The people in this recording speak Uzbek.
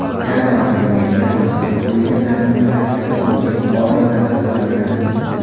Jarohatlanganlar va halok bo‘lganlarning barchasi Turkiya fuqarolari hisoblanadi.